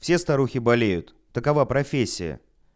все старухи болеют такова профессия